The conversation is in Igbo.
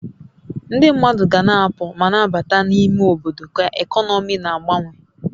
Ndị mmadụ ga-na apụ ma na-abata na n'ime obodo ka ekọnọmi na-agbanwe